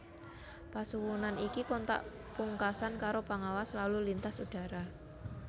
Pasuwunan iki kontak pungkasan karo Pangawas Lalu Lintas Udara